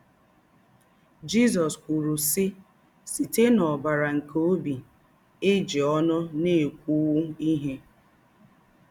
Jizọ́s kwùrù, sị́: “Sītè n’ọ̀bárá nké óbì, é jì̄ ọnù na-ékùwú íhè.